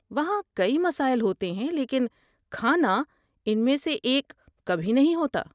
وہاں کئی مسائل ہوتے ہیں لیکن کھانا ان میں سے ایک کبھی نہیں ہوتا!